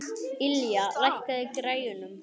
Ylja, lækkaðu í græjunum.